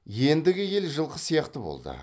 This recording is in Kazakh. ендігі ел жылқы сияқты болды